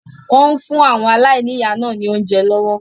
Wọn ń fún àwọn aláìníya náà ni oúnjẹ lọ́wọ́